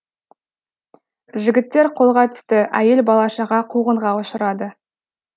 жігіттер қолға түсті әйел бала шаға қуғынға ұшырады